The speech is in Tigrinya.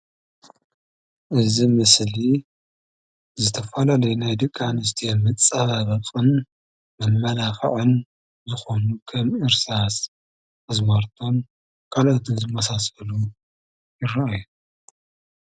እዚ ምስሊ ዝተፈላለዩ ናይ ደቂ ኣንስትዮ መፀባበቂ እዩ።